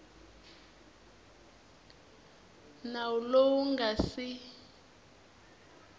nawu lowu wu nga si